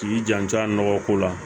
K'i janto a nɔgɔ ko la